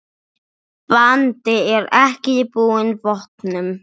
Baldur er ekki búinn vopnum.